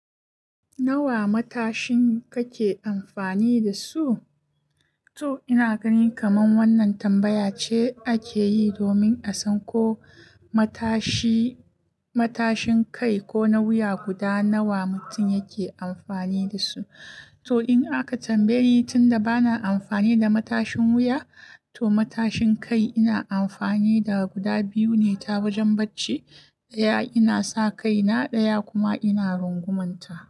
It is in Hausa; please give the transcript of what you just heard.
Nawa matashin kake amfani da su? To ina gani kaman wannan tambaya ce ake yi domin a san ko matashi matashin kai ko na wuya guda nawa mutum yake amfani da su. To in aka tambaye ni tunda bana amfani da matashin wuya, to matashin kai ina amfani da guda biyu ne ta wajen bacci. Ɗaya ina sa kaina, ɗaya kuma ina rungumanta.